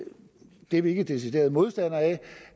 vi vi ikke er deciderede modstandere